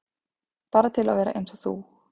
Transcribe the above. Bara til að vera eins og þú.